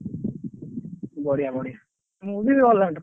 ବଢିଆ ବଢିଆ ମୁଁ ବି all rounder ।